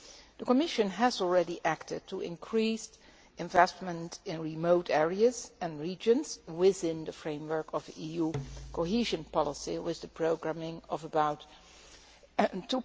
The Commission has already acted to increase investment in remote areas and regions within the framework of the EU Cohesion Policy with the programming of about EUR